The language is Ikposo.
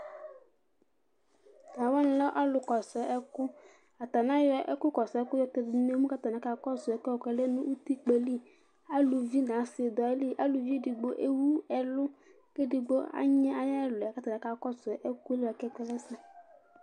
Tʋ alʋ wanɩ lɛ ɔlʋ kɔsʋ ɛkʋAtanɩ ayɔ ɛkʋ kɔsʋ ɛkʋɛ yɔtɛdʋ n' emu katanɩ aka kɔsʋ ɛkʋɛ bʋa kʋɔlɛ nʋ utikpǝ yɛ li Aluvi n' asɩ dʋ ayiliAluvi edigbo ewu ɛlʋ, k' edigbo anyɩ ayɛlʋɛ katanɩ akakɔsʋ